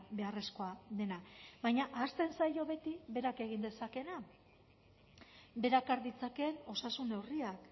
beharrezkoa dena baina ahazten zaio beti berak egin dezakeena berak har ditzakeen osasun neurriak